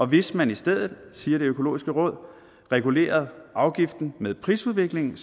hvis man i stedet siger det økologiske råd regulerede afgiften med prisudviklingen